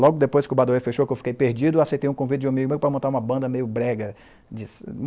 Logo depois que o Badauê fechou, que eu fiquei perdido, eu aceitei um convite de um amigo meu para montar uma banda meio brega de